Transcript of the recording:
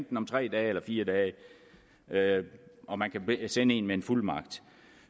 den om tre dage eller fire dage og man kan sende en med en fuldmagt